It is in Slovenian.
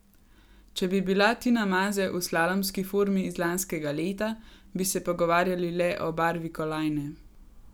Če bi bila Tina Maze v slalomski formi iz lanskega leta, bi se pogovarjali le o barvi kolajne.